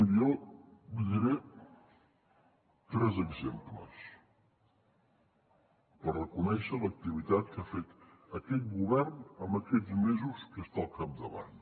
miri jo li diré tres exemples per reconèixer l’activitat que ha fet aquest govern en aquests mesos que està al capdavant